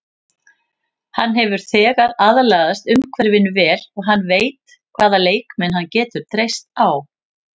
Hann hefur þegar aðlagast umhverfinu vel og hann veit hvaða leikmenn hann getur treyst á.